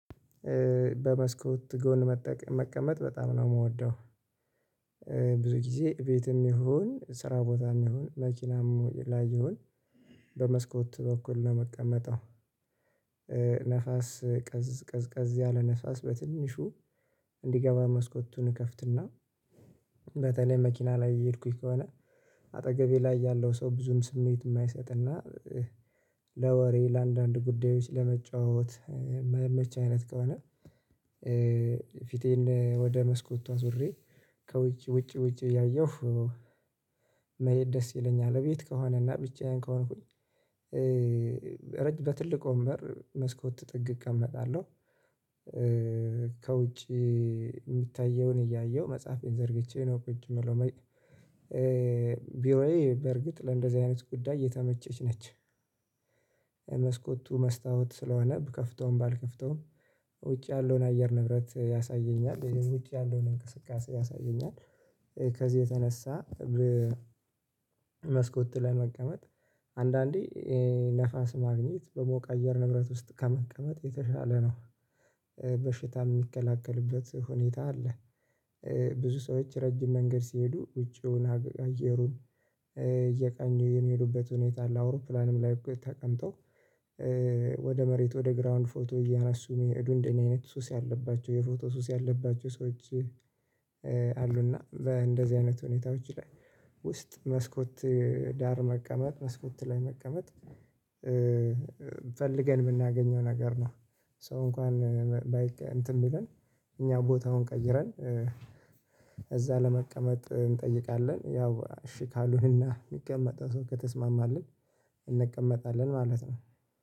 በመስኮት ጎን መቀመጥ በጣም ነው የምወደው። ብዙ ጊዜ ቤትም ይሁን ስራ ቦታም ይሁን መኪናም ላይ ይሁን በመስኮት በኩል ነው የመቀመጠው። ነፋስ ቀዝ ቀዝ ቀዝ ያለ ነፋስ በትንሹ እንዲገባ መስኮቱን እከፍትና በተለይ መኪና ላይ የሄድኩኝ ከሆነ አጠገቤ ላይ ያለው ሰው ብዙም ስሜት የማይሰጥና። ለወሬ ለአንዳንድ ጉዳዮች ለመጫወት ማይመቼ አይነት ከሆነ። ፊቴን ወደ መስኮቱ አዙሬ ከውጭ ውጭ ውጭ እያየሁ መሄድ ደስ ይለኛል። እቤት ከሆነና ብቻዬን ከሆንኩኝ ረጅም በትልቅ ወንበር መስኮት ጥግ እቀመጣለሁ። ከውጪ የሚታየውን እያየሁ መጽሐፌን ዘርግቼ ነው ቁጭ የምለው። ቢሮዬ በርግጥ ለእንደዚህ አይነት ጉዳይ የተመቸች ነች። የመስኮቱ መስታወት ስለሆነ ብከፍተውም ባልከፍተውም ውጭ ያለውን አየር ንብረት ያሳየኛል ይሄን ውጭ ያለውን እንቅስቃሴ ያሳየኛል። ከዚህ የተነሳ መስኮት ላይ መቀመጥ አንዳንዴ ነፋስ ማግኘት በሞቀ አየር ንብረት ውስጥ ከመቀመጥ የተሻለ ነው። በሽታ ሚከላከልበት ሁኔታ አለ። ብዙ ሰዎች ረጅም መንገድ ሲሄዱ ውጪውን አገግግ አየሩን እየቃኙ የሚሄዱበት ሁኔታ ለአውሮፕላንም ላይ እኮ ተቀምጠው ወደ መሬት ወደ ግራውንድ ፎቶ እያነሱ የዱንድ አይነት ሱስ ያለባቸው የፎቶ ሱስ ያለባቸው ሰዎች። አሉና በእንደዚህ አይነት ሁኔታዎች ላይ ውስጥ መስኮት ዳር መቀመጥ መስኮት ላይ መቀመጥ። ፈልገን የምናገኘው ነገር ነው። ሶ እንኳን ባይ እንትን ብለን እኛ ቦታውን ቀይረን ለመቀመጥ እንጠይቃለን ያው እሺ ካልሆነና የሚቀመጠው ሰው ከተስማማልን ማለት ነው